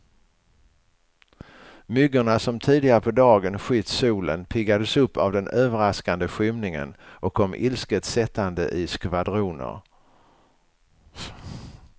Myggorna som tidigare på dagen skytt solen, piggades upp av den överraskande skymningen och kom ilsket sättande i skvadroner.